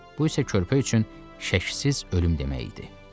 Bu isə körpə üçün şübhəsiz ölüm demək idi.